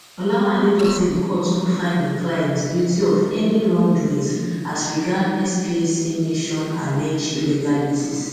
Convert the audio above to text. olawanle tok say di court no find im client guilty of any wrongdoings as regard spac nation alleged illegalities